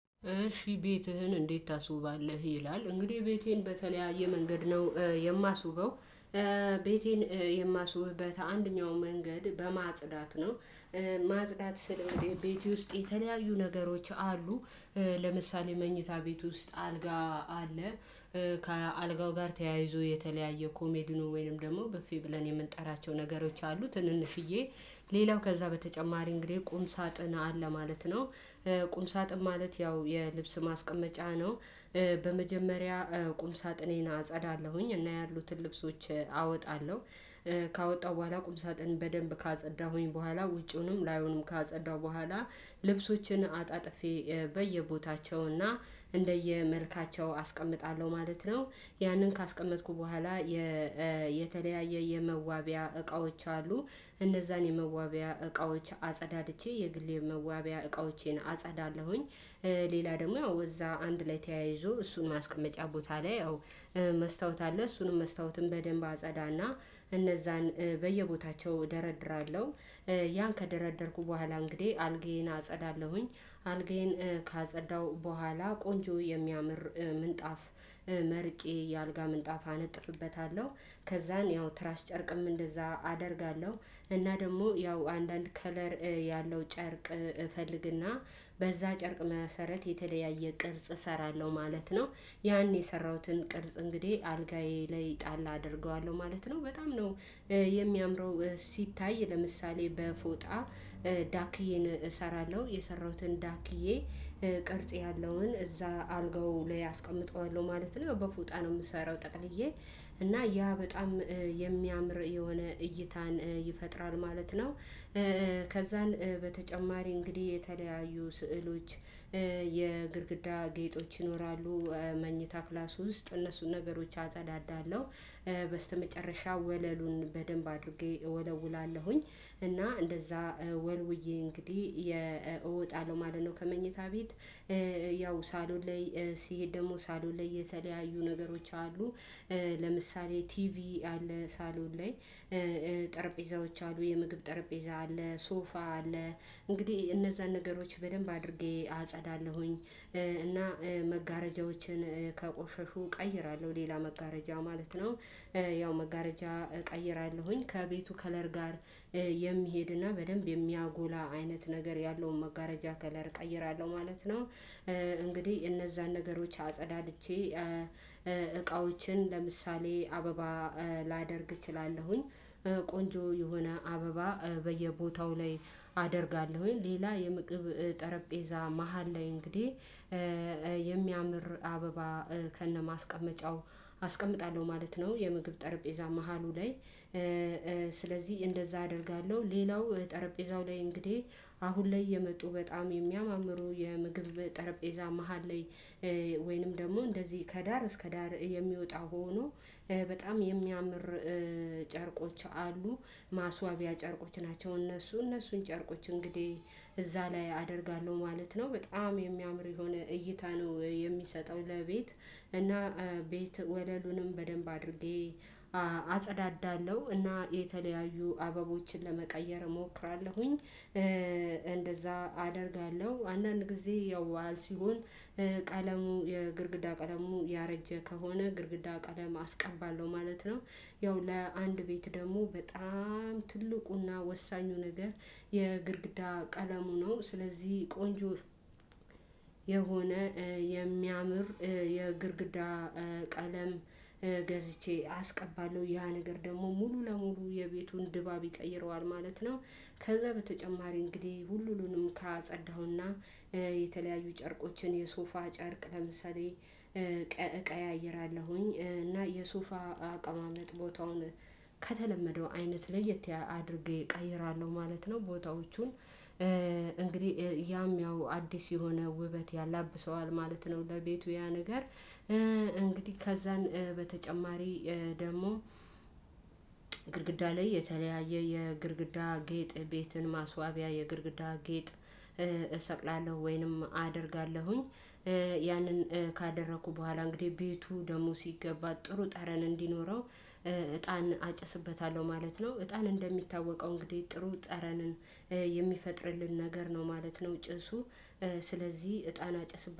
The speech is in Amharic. እሺ ቤትህን እንዴት? ታስውባለህ ይላል እንግዲህ ቤቴን በተለያየ መንገድ ነው የማስውበው። ቤቴን የማስውብበት አንደኛው መንገድ በማጽዳት ነው። ማጽዳት ስል እንግዲህ ቤቴ ውስጥ የተለያዩ ነገሮች አሉ። ለምሳሌ መኝታ ቤት ውስጥ አልጋ አለ ከአልጋው ጋር ተያይዞ የተለያየ ኮሜዲኖ ወይንም ደግሞ ብፌ ብለን የምንጠራቸው ነገሮች አሉ ትንንሽዬ ሌላው ከዛ በተጨማሪ እንግዲህ ቁም ሳጥን አለ ማለት ነው። ቁም ሳጥን ማለት ያው የልብስ ማስቀመጫ ነው። በመጀመሪያ ቁም ሳጥኔን አጸዳለሁኝ እና ያሉትን ልብሶች አወጣለሁ። ካወጣሁ በኋላ ቁም ሳጥን በደንብ ካጸዳሁኝ በኋላ ውጪውንም ላዩንም ካጸዳሁ በኋላ ልብሶችን አጣጥፌ በየቦታቸውና እንደየመልካቸው አስቀምጣለሁ ማለት ነው። ያንን ካስቀመጥኩ በኋላ። የተለያየ የመዋቢያ እቃዎች አሉ እነዛን የመዋቢያ እቃዎች አፀዳድቼ የግሌ የመዋቢያ እቃዎቼን አፀዳለሁኝ። ሌላ ደግሞ ያው እዛ አንድ ላይ ተያይዞ እሱን ማስቀመጫ ቦታ ላይ አዎ። መስታወት አለ እሱንም መስታወትም በደንብ አፀዳና እነዛን በየቦታቸው እደረድራለሁ። ያን ከደረደርኩ በኋላ እንግዲህ አልጋዬን አፀዳለሁኝ አልጋዬን ካፀዳሁ በኋላ ቆንጆ የሚያምር ምንጣፍ መርጬ የአልጋ ምንጣፍ አነጥፍበታለሁ። ከዛን ያው ትራስ ጨርቅም እንደዛ አደርጋለሁ እና ደግሞ ያው አንዳንድ ከለር ያለው ጨርቅ እፈልግና በዛ ጨርቅ መሰረት የተለያየ ቅርጽ እሰራለሁ ማለት ነው። ያኔ የሰራሁትን ቅርጽ እንግዲህ አልጋዬ ላይ ጣል አደርገዋለሁ ማለት ነው በጣም ነው። የሚያምረው ሲታይ ለምሳሌ በፎጣ ዳክዬን እሰራለሁ የሰራሁትን ዳክዬ ቅርጽ ያለውን እዛ አልጋው ላይ አስቀምጠዋለሁ ማለት ነው በፎጣ ነው የምሰራው ጠቅልዬ እና ያ በጣም የሚያምር የሆነ እይታን ይፈጥራል ማለት ነው። ከዛን በተጨማሪ እንግዲህ የተለያዩ ስዕሎች የግድግዳ ጌጦች ይኖራሉ። መኝታ ክላሱ ውስጥ እነሱን ነገሮች አጸዳዳለሁ። በስተመጨረሻ ወለሉን በደንብ አድርጌ እወለውላለሁኝ እና እንደዛ ወልውዬ እንግዲህ እወጣለሁ ማለት ነው። ከመኝታ ቤት። ያው ሳሎን ላይ ስሄድ ደግሞ ሳሎን ላይ የተለያዩ ነገሮች አሉ። ለምሳሌ ቲቪ አለ ሳሎን ላይ። ጠረጴዛዎች አሉ የምግብ ጠረጴዛ አለ ሶፋ አለ። እንግዲህ እነዛን ነገሮች በደንብ አድርጌ አጸዳለሁኝ። እና መጋረጃዎችን ከቆሸሹ እቀይራለሁ ሌላ መጋረጃ ማለት ነው። ያው መጋረጃ እቀይራለሁኝ ከቤቱ ከለር ጋር የሚሄድና በደንብ የሚያጎላ አይነት ነገር ያለውን መጋረጃ ከለር እቀይራለሁ ማለት ነው። እንግዲህ እነዛን ነገሮች አጸዳድቼ እቃዎችን ለምሳሌ አበባ ላደርግ እችላለሁኝ። ቆንጆ የሆነ አበባ በየቦታው ላይ አደርጋለሁኝ ሌላ የምግብ ጠረጴዛ መሃል ላይ እንግዲህ አበባ ከነማስቀመጫው አስቀምጣለሁ ማለት ነው። የምግብ ጠረጴዛ መሃሉ ላይ። ስለዚህ እንደዛ አደርጋለሁ ሌላው ጠረጴዛው ላይ እንግዲህ አሁን ላይ የመጡ በጣም የሚያማምሩ የምግብ ጠረጴዛ መሃል ላይ ወይንም ደግሞ እንደዚህ ከዳር እስከ ዳር የሚወጣ ሆኖ በጣም የሚያምር ጨርቆች አሉ። ማስዋቢያ ጨርቆች ናቸው እነሱ እነሱን ጨርቆች እንግዲህ እዛ ላይ አደርጋለሁ ማለት ነው። በጣም የሚያምር የሆነ እይታ ነው የሚሰጠው ለቤት። እና ቤት ወለሉንም በደንብ አድርጌ አጸዳዳለሁ እና የተለያዩ አበቦችን ለመቀየር እሞክራለሁኝ። እንደዛ አደርጋለሁ አንዳንድ ጊዜ ያው በዓል ሲሆን ቀለሙ የግድግዳ ቀለሙ ያረጀ ከሆነ ግድግዳ ቀለም አስቀባለሁ ማለት ነው። ያው ለአንድ ቤት ደግሞ በጣም ትልቁና ወሳኙ ነገር የግድግዳ ቀለሙ ነው ስለዚህ ቆንጆ የሆነ የሚያምር የግርግዳ ቀለም ገዝቼ አስቀባለሁ ያ ነገር ደግሞ ሙሉ ለሙሉ የቤቱን ድባብ ይቀይረዋል ማለት ነው። ከዛ በተጨማሪ እንግዲህ ሁሉንም ካጸዳሁና የተለያዩ ጨርቆችን የሶፋ ጨርቅ ለምሳሌ እቀያይራለሁኝ እና የሶፋ አቀማመጥ ቦታውን ከተለመደው አይነት ለየት አድርጌ እቀይራለሁ ማለት ነው። ቦታዎቹን እንግዲህ ያም ያው አዲስ የሆነ ውበት ያላብሰዋል ማለት ነው። ለቤቱ ያ ነገር እንግዲህ ከዛን በተጨማሪ ደግሞ ላይ የተለያየ የግድግዳ ጌጥ ቤትን ማስዋቢያ የግድግዳ ጌጥ። እሰቅላለሁ ወይንም አደርጋለሁኝ። ያንን ካደረኩ በኋላ እንግዲህ ቤቱ ደግሞ ሲገባ ጥሩ ጠረን እንዲኖረው እጣን አጭስበታለሁ ማለት ነው። እጣን እንደሚታወቀው እንግዲህ ጥሩ ጠረንን የሚፈጥርልን ነገር ነው ማለት ነው። ጭሱ ስለዚህ እጣን አጨስበት